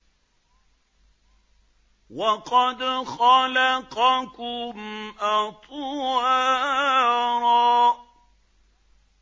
وَقَدْ خَلَقَكُمْ أَطْوَارًا